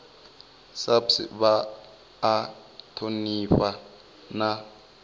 saps vha a thonifha na